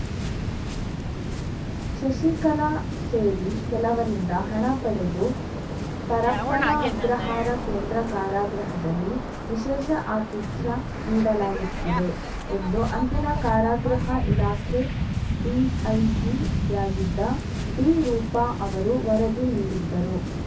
ಶಶಿಕಲಾ ಸೇರಿ ಕೆಲವರಿಂದ ಹಣ ಪಡೆದು ಪರಪ್ಪನ ಅಗ್ರಹಾರ ಕೇಂದ್ರ ಕಾರಾಗೃಹದಲ್ಲಿ ವಿಶೇಷ ಅತಿಥ್ಯ ನೀಡಲಾಗುತ್ತಿದೆ ಎಂದು ಅಂದಿನ ಕಾರಾಗೃಹ ಇಲಾಖೆ ಡಿಐಜಿಯಾಗಿದ್ದ ಡಿರೂಪಾ ಅವರು ವರದಿ ನೀಡಿದ್ದರು